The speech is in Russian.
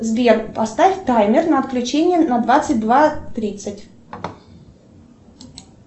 сбер поставь таймер на отключение на двадцать два тридцать